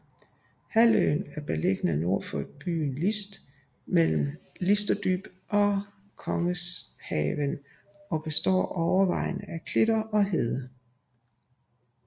Halvøen er beliggende nord for landsbyen List mellem Listerdyb og Kongshavnen og består overvejende af klitter og hede